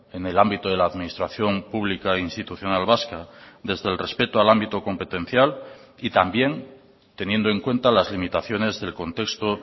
en el ámbito de la administración pública institucional vasca desde el respeto al ámbito competencial y también teniendo en cuenta las limitaciones del contexto